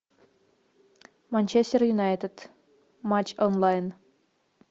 манчестер юнайтед матч онлайн